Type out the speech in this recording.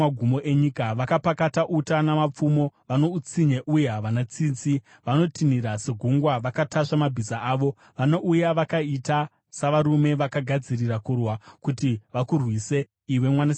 Vakapakata uta namapfumo; vano utsinye uye havana tsitsi. Vanotinhira segungwa vakatasva mabhiza avo; vanouya vakaita savarume vakagadzirira kurwa, kuti vakurwise, iwe Mwanasikana weBhabhironi.